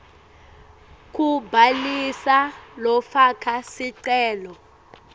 kubhalisa lofaka sicelo